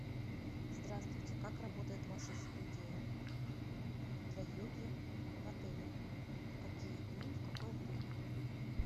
здравствуйте как работает ваша студия для йоги в отеле в какие дни и в какое время